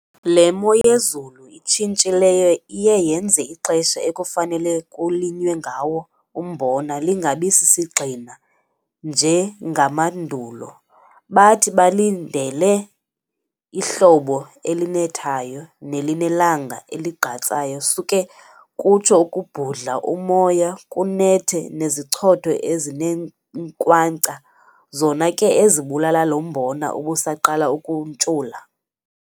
Le moyezulu itshintshileyo iye yenze ixesha ekufanele kulinywe ngawo umbona lingabi sisigxina njengamandulo. Bathi balindele ihlobo elinethayo nelinelanga eligqatsayo suke kutsho ukubhudla umoya kunethe nezichotho ezinenkwankca zona ke ezibulala lombona ubusaqala ukuntshula.